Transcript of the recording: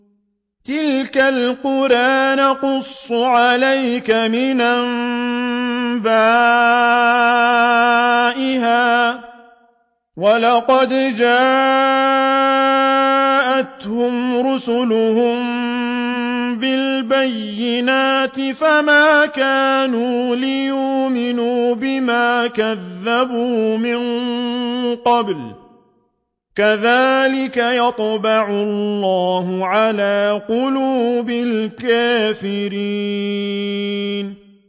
تِلْكَ الْقُرَىٰ نَقُصُّ عَلَيْكَ مِنْ أَنبَائِهَا ۚ وَلَقَدْ جَاءَتْهُمْ رُسُلُهُم بِالْبَيِّنَاتِ فَمَا كَانُوا لِيُؤْمِنُوا بِمَا كَذَّبُوا مِن قَبْلُ ۚ كَذَٰلِكَ يَطْبَعُ اللَّهُ عَلَىٰ قُلُوبِ الْكَافِرِينَ